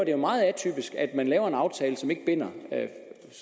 er jo meget atypisk at man laver en aftale som ikke binder